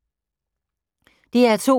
DR2